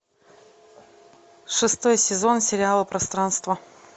шестой сезон сериала пространство